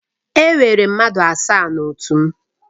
Enwere mmadụ asaa na otu m.